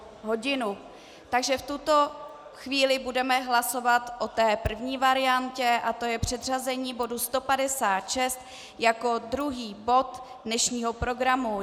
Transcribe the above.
Takže v tuto chvíli budeme hlasovat o té první variantě a to je předřazení bodu 156 jako druhý bod dnešního programu.